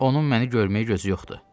Onun məni görməyə gözü yoxdur.